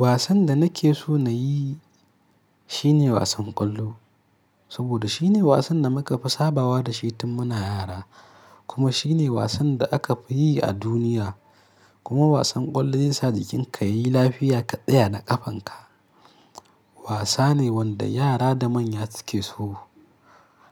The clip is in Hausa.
Wasan da nake so na yi shine wasan ƙwallo. Saboda shine wasan da muka fi sabawa da shi tun muna yara. Kuma shine wasan da aka fi yi a duniya. Kuma wasan ƙwallo zai sa jikinka yayi lafiya ka tsaya da ƙafanka. Wasane wanda yara da manya suke so.